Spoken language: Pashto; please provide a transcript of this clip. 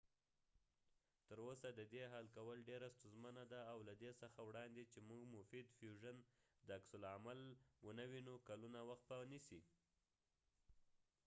تر اوسه ددې حل کول ډیره ستونزمنه ده او له دې څخه وړاندې چې مونږ مفید فیوژن د عکس العمل عامل و نه وینو کلونو وخت به ونیسي